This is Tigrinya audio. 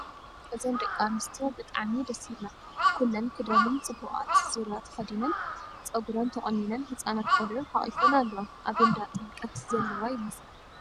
እዘን ደቒ ኣነስትዮ ብጣዕሚ ደስ ይብላ ኩለን ክዳነን ፅቡቓት ዙርያ ተኸዲነን ፀጉራን ተቖኒነን ህፃናት ቖልዑት ሓቒፈን ኣለዋ፡ ኣብ እንዳ ጥምቐት ዘለዋ ይመስላ ።